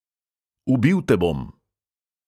Ubil te bom!